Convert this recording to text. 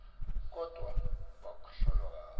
kodvwa bahlolwa banike